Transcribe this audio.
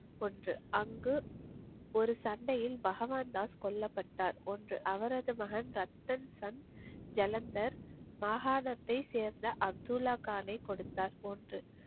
ஒன்று. அங்கு ஒரு சண்டையில் பகவான்தாஸ் கொல்லப்பட்டார். ஒன்று அவரது மகன் ரத்தன் சன் ஜலந்தர் மாகாணாத்தை சேர்ந்த அப்துல்லா கானை கொடுத்தார். ஒன்று.